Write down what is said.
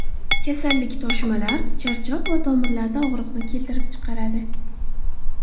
Kasallik toshmalar, charchoq va tomirlarda og‘riqni keltirib chiqaradi.